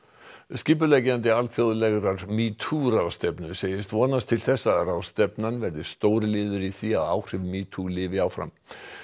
skipuleggjandi alþjóðlegrar metoo ráðstefnu segist vonast til þess að ráðstefnan verði stór liður í því að áhrif metoo lifi áfram